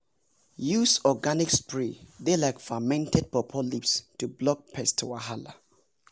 use organic spray dey like fermented pawpaw leaves to block pest wahala.